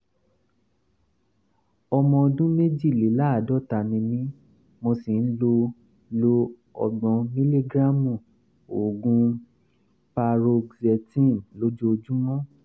ọmọ ọdún méjìléláàádọ́ta ni mí mo sì ń lo lo ọgbọ̀n mílígíráàmù oògùn paroxetine lójoojúmọ́